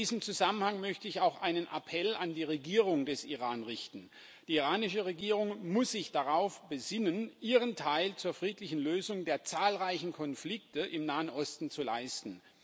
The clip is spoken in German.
In diesem Zusammenhang möchte ich auch einen Appell an die Regierung des Iran richten Die iranische Regierung muss sich darauf besinnen, ihren Teil zur friedlichen Lösung der zahlreichen Konflikte im Nahen Osten zu leisten.